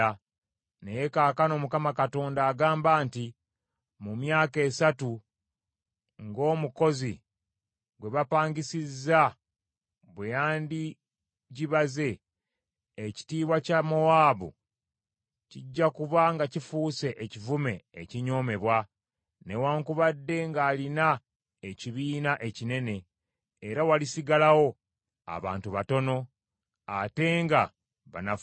Naye kaakano Mukama Katonda agamba nti, “Mu myaka esatu, ng’omukozi gwe bapangisizza bwe yandigibaze, ekitiibwa kya Mowaabu kijja kuba nga kifuuse ekivume ekinyoomebwa, newaakubadde ng’alina ekibiina ekinene; era walisigalawo abantu batono ate nga banafu ddala.”